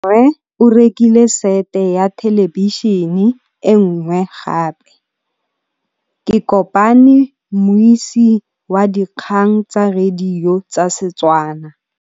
Rre o rekile sete ya thêlêbišênê e nngwe gape. Ke kopane mmuisi w dikgang tsa radio tsa Setswana.